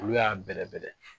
Olu y'a bɛrɛ bɛrɛ